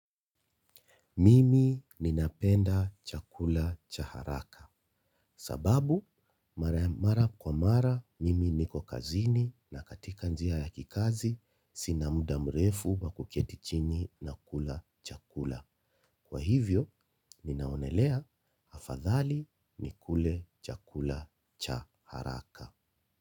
Mimi ninapenda chakula cha haraka, kwa sababu mara mara kwa mara mimi niko kazini na katika njia ya kikazi sina muda mrefu wa kuketi chini na kula chakula. Kwa hivyo, ninaonelea afadhali nikule chakula cha haraka.